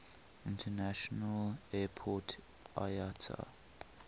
international airport iata